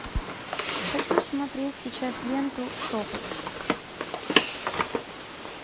хочу смотреть сейчас ленту шепот